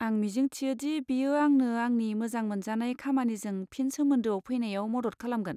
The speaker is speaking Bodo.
आं मिजिंथियोदि बेयो आंनो आंनि मोजां मोनजानाय खामानिजों फिन सोमोन्दोआव फैनायाव मद'द खालामगोन।